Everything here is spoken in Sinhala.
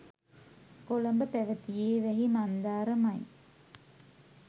කොළඹ පැවැතියේ වැහි මන්දාරමයි.